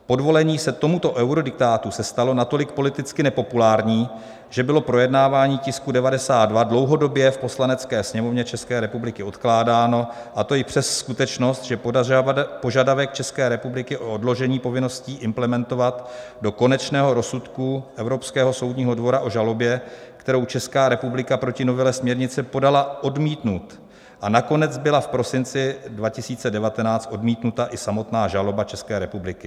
Podvolení se tomuto eurodiktátu se stalo natolik politicky nepopulární, že bylo projednávání tisku 92 dlouhodobě v Poslanecké sněmovně České republiky odkládáno, a to i přes skutečnost, že požadavek České republiky o odložení povinnosti implementovat do konečného rozsudku Evropského soudního dvora o žalobě, kterou Česká republika proti novele směrnice podala, odmítnut a nakonec byla v prosinci 2019 odmítnuta i samotná žaloba České republiky.